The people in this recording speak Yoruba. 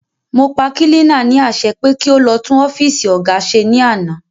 Mọ pa kílínà ní àṣẹ pé kí o lọ tún ọ́fìsì óga ṣe ní àná